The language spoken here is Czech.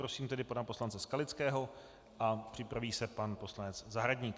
Prosím tedy pana poslance Skalického a připraví se pan poslanec Zahradník.